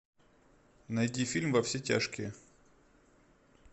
найди фильм во все тяжкие